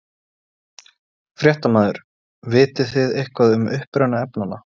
Fréttamaður: Vitið þið eitthvað um uppruna efnanna?